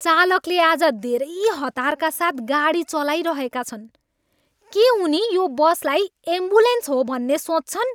चालकले आज धेरै हतारका साथ गाडी चलाइरहेका छन्। के उनी यो बसलाई एम्बुलेन्स हो भन्ने सोच्छन्?